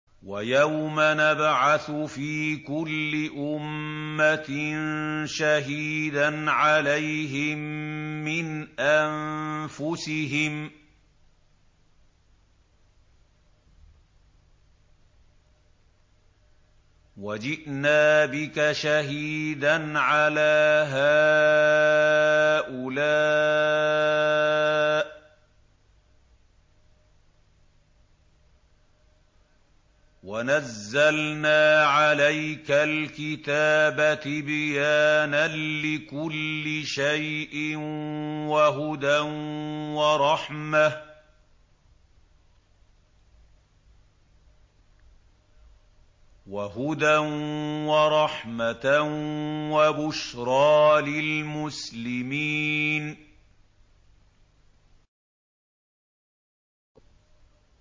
وَيَوْمَ نَبْعَثُ فِي كُلِّ أُمَّةٍ شَهِيدًا عَلَيْهِم مِّنْ أَنفُسِهِمْ ۖ وَجِئْنَا بِكَ شَهِيدًا عَلَىٰ هَٰؤُلَاءِ ۚ وَنَزَّلْنَا عَلَيْكَ الْكِتَابَ تِبْيَانًا لِّكُلِّ شَيْءٍ وَهُدًى وَرَحْمَةً وَبُشْرَىٰ لِلْمُسْلِمِينَ